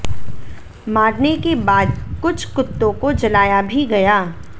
मारने के बाद कुछ कुत्तों को जलाया भी गया